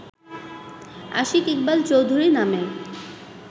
আশিক ইকবাল চৌধুরী নামের